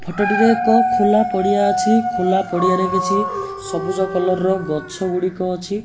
Photo ଟି ରେ ଏକ ଖୋଲା ପଡିଆ ଅଛି। ଖୋଲା ପଡିଆରେ କିଛି ସବୁଜ କଲର ର ଗଛ ଗୁଡିକ ଅଛି।